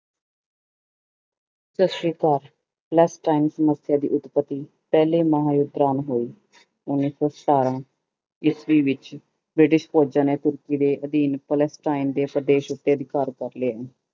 ਸਤਿ ਸ੍ਰੀ ਅਕਾਲ ਸਮੱਸਿਆ ਦੀ ਉੱਤਪਤੀ ਪਹਿਲੇ ਮਹਾਂਯੁਧ ਦੌਰਾਨ ਹੋਈ, ਉੱਨੀ ਸੌ ਸਤਾਰਾਂ ਈਸਵੀ ਵਿੱਚ ਬ੍ਰਿਟਿਸ਼ ਫ਼ੋਜ਼ਾਂਂ ਨੇ ਤੁਰਕੀ ਦੇੇ ਅਧੀਨ ਦੇ ਪ੍ਰਦੇਸ਼ ਉੱਤੇ ਅਧਿਕਾਰ ਕਰ ਲਏ